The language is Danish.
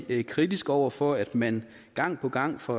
vi kritiske over for at man gang på gang fra